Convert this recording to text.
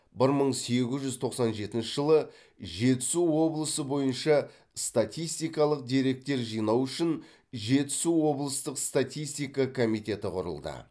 бір мың сегіз жүз тоқсан жетінші жылы жетісу облысы бойынша статистикалық деректер жинау үшін жетісу облыстық статистика комитеті құрылды